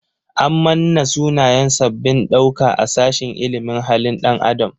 An manna sunayen sabbabin ɗauka a sashin ilimin halin ɗan adam.